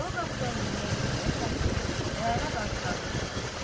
Sol qapıdan girmək istəyərlər ki, Rəna qarşılarına çıxar.